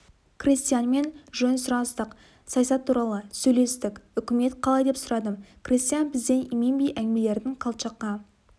крестьянмен жөн сұрастық саясат туралы сөйлестік үкімет қалай деп сұрадым крестьян бізден именбей әңгімелерін колчакқа